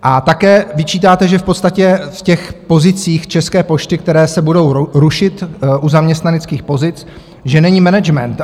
A také vyčítáte, že v podstatě v těch pozicích České pošty, které se budou rušit, u zaměstnaneckých pozic, že není management.